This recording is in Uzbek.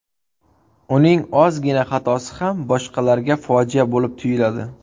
Uning ozgina xatosi ham boshqalarga fojia bo‘lib tuyuladi.